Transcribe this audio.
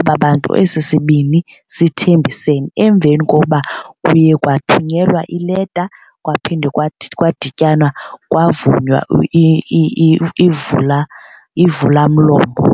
aba bantu esi sibini sithembisene emveni koba kuye kwathunyelwa ileta kwaphinde kwadityanwa kwavunywa ivulamlomo.